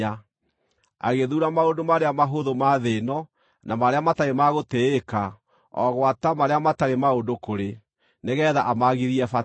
Agĩthuura maũndũ marĩa mahũthũ ma thĩ ĩno, na marĩa matarĩ ma gũtĩĩka, o gwata marĩa matarĩ maũndũ kũrĩ, nĩgeetha amaagithie bata,